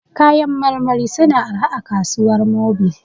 Kayan marmari su na arha a kasuwar Mobil